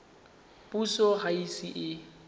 puso ga e ise e